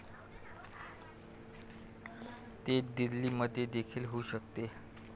तेच दिल्लीमध्येदेखील होऊ शकते.